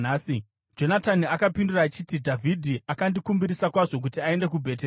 Jonatani akapindura achiti, “Dhavhidhi akandikumbirisa kwazvo kuti aende kuBheterehema.